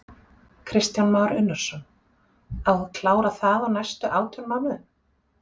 Kristján Már Unnarsson: Á að klára það á næstu átján mánuðum?